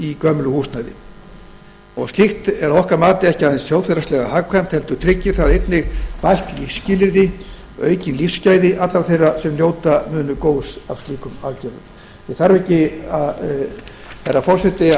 í íbúðir gamals húsnæðis slíkt er að okkar mati ekki aðeins þjóðhagslega hagkvæmt heldur tryggir það einnig bætt lífsskilyrði og aukin lífsgæði allra þeirra sem njóta munu góðs af slíkum aðgerðum ég þarf ekki herra forseti